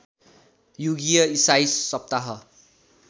युगीय ईसाई सप्ताह